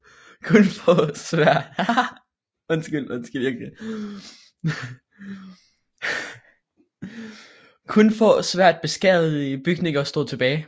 Kun få svært beskadigede bygninger stod tilbage